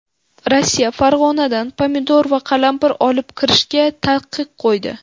Rossiya Farg‘onadan pomidor va qalampir olib kirishga taqiq qo‘ydi.